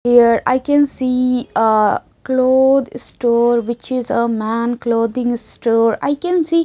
here I can see a cloth store which is a man clothing store I can see--